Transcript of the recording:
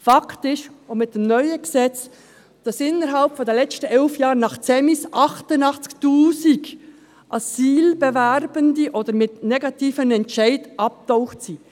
Fakt ist auch mit dem neuen Gesetz, dass während der letzten elf Jahre mit dem Zentralen Migrationsinformationssystem (ZEMIS) 88 000 Asylbewerbende, oder solche mit negativem Entscheid, abgetaucht sind.